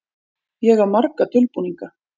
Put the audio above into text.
Ég á marga dulbúninga.